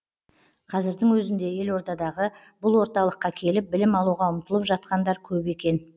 қазірдің өзінде елордадағы бұл орталыққа келіп білім алуға ұмтылып жатқандар көп екен